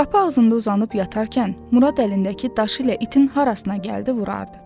Qapı ağzında uzanıb yatarkən Murad əlindəki daşı ilə itin harasına gəldi vurardı.